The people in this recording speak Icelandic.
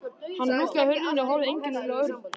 Hann lokaði hurðinni og horfði einkennilega á Örn.